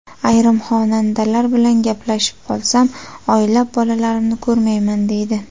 Ayrim xonandalar bilan gaplashib qolsam, oylab bolalarimni ko‘rmayman, deydi.